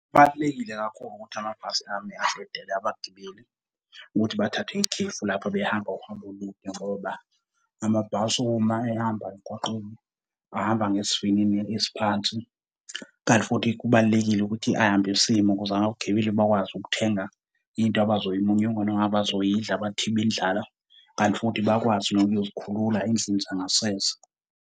Kubalulekile kakhulu ukuthi amabhasi ame adedele abagibeli, ukuthi bathathe ikhefu lapho abehamba uhambo olude, ngoba amabhasi uma ehamba emgaqweni ahamba ngesivinini esiphansi. Kanti futhi kubalulekile ukuthi ahambe esima ukuze abagibeli bakwazi ukuthenga into abazoyimunyunga noma abazoyidla bathibe indlala, kanti futhi bakwazi nokuyozikhulula endlini zangasese.